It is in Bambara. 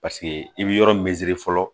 Paseke i bɛ yɔrɔ min fɔlɔ